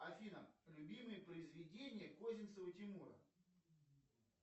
афина любимые произведения козинцева тимура